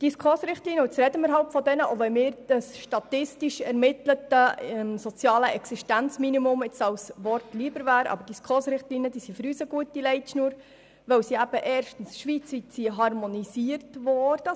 Die SKOS-Richtlinien – jetzt sprechen wir halt über diese, selbst wenn mir statistisch ermitteltes soziales Existenzminimum als Wort lieber wäre – sind für uns eine gute Leitschnur, weil sie erstens schweizweit harmonisiert wurden.